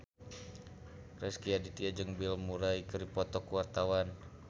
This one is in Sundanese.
Rezky Aditya jeung Bill Murray keur dipoto ku wartawan